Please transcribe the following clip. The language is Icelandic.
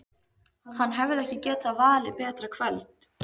Hann hefði ekki getað valið betra kvöld.